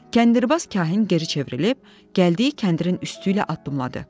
Kəndirbaz Kahin geri çevrilib, gəldiyi kəndirin üstü ilə addımladı.